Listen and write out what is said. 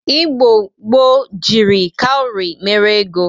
Igbo gboo jiri kauri mere ego.